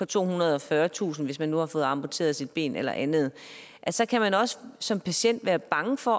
tohundrede og fyrretusind kr hvis man nu har fået amputeret sit ben eller andet så kan man også som patient være bange for